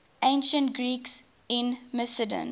ancient greeks in macedon